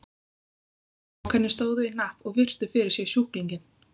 Strákarnir stóðu í hnapp og virtu fyrir sér sjúklinginn.